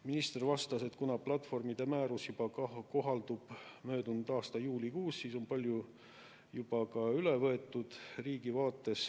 Minister vastas, et kuna platvormide määrus kohaldub möödunud aasta juulikuust, siis on riigi vaates juba palju üle võetud.